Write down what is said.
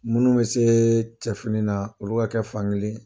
Minnu bɛ se cɛ fini na olu ka kɛ fankelen ye.